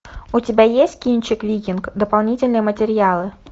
у тебя есть кинчик викинг дополнительные материалы